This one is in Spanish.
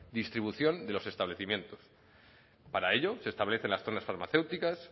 distribución de los establecimientos para ello se establecen las zonas farmacéuticas